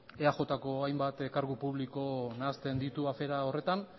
eajko hainbat kargu publiko nahasten ditu horretan